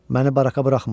Məni baraka buraxmırlar.